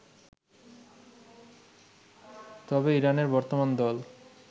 তবে ইরানের বর্তমান দল